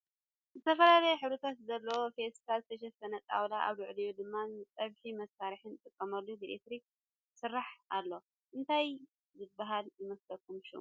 ብዝተፈላለየ ሕብርታት ዘለዎ ፈስታል ዝተሸፈነ ጣውላ ኣብ ልዕሊኡ ድማ ንፀቢሒ መስርሒ ንጥቀመሉ ብኤሌትርክ ዝሰርሕ ኣሎ እነታይ ዝብሃል ይመስለኩም ሽሙ ?